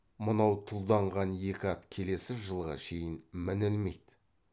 мынау тұлданған екі ат келесі жылға шейін мінілмейді